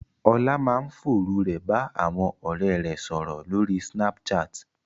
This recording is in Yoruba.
Ọlá máa ń fòru rẹ̀ bá àwọn ọ̀rẹ́ rẹ̀ sọ̀rọ̀ lórí Snapchat